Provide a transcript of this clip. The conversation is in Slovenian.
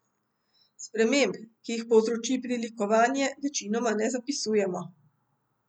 Sprememb, ki jih povzroči prilikovanje, večinoma ne zapisujemo.